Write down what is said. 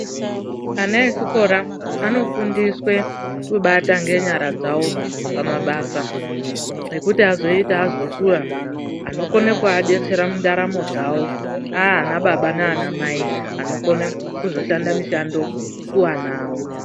Ana echikora anofundiswe kubata ngenyara dzavo pamabasa ekuti azoita azokura anokona kuadetsera mundaramo dzavo aanababa naanamai vonokona kuzoshanda mishando kuana awo.